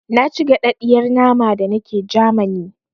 Na ci gaɗaɗiyar nama da nake Jamani